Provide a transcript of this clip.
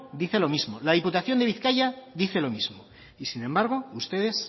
dice lo mismo la diputación de bizkaia dice lo mismo y sin embargo ustedes